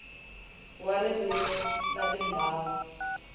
wa ririmi na tindhawu ta